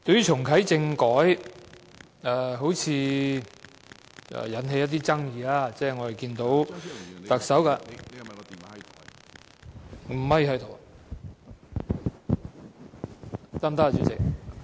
重啟政改好像引起了一些爭議，我們看到特首......